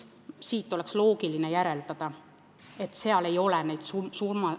Siit oleks loogiline järeldada, et seal ei ole need summad suurenenud.